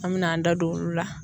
An mɛna an da don olu la.